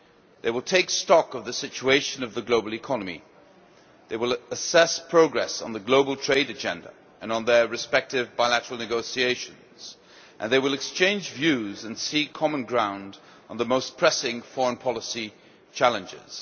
They will take stock of the situation of the global economy, they will assess progress on the global trade agenda and on their respective bilateral negotiations, and they will exchange views and seek common ground on the most pressing foreign policy challenges.